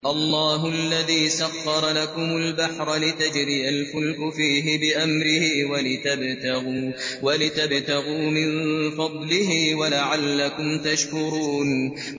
۞ اللَّهُ الَّذِي سَخَّرَ لَكُمُ الْبَحْرَ لِتَجْرِيَ الْفُلْكُ فِيهِ بِأَمْرِهِ وَلِتَبْتَغُوا مِن فَضْلِهِ وَلَعَلَّكُمْ تَشْكُرُونَ